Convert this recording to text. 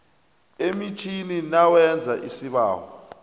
emitjhini nawenza isibawo